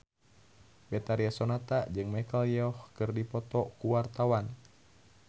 Betharia Sonata jeung Michelle Yeoh keur dipoto ku wartawan